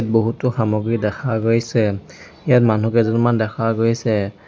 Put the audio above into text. বহুতো সামগ্ৰী দেখা গৈছে ইয়াত মনুহ কেইজনমান দেখা গৈছে।